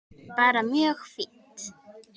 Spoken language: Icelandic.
Bara mjög fínt.